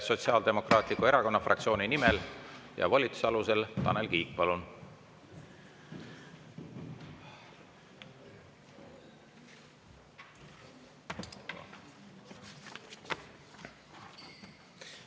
Sotsiaaldemokraatliku Erakonna fraktsiooni nimel ja volituse alusel, Tanel Kiik, palun!